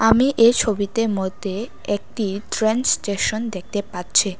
আমি ছবিতে মধ্যে একতি ট্রেইন স্টেশন দেখতে পাচ্ছি।